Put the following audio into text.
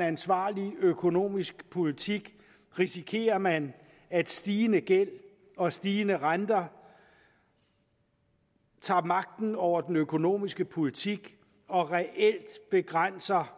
ansvarlig økonomisk politik risikerer man at stigende gæld og stigende renter tager magten over den økonomiske politik og reelt begrænser